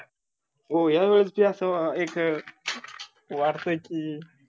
हो या वर्षी अस एक वाटताय की